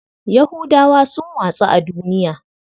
Yahudawa sun watsu a duniya.